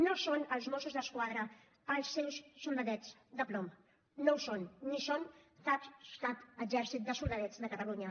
no són els mossos d’esquadra els seus soldadets de plom no ho són ni són cap cap exèrcit de soldadets de catalunya